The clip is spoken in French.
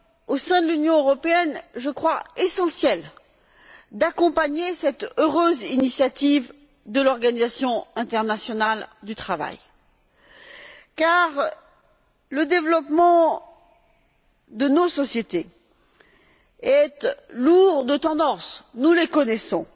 Au sein de l'Union européenne, je crois essentiel d'accompagner cette heureuse initiative de l'Organisation internationale du travail car le développement de nos sociétés est lourd de tendances nous les connaissons.